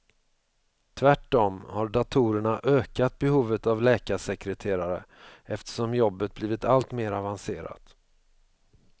Tvärtom har datorerna ökat behovet av läkarsekreterare, eftersom jobbet blivit allt mer avancerat.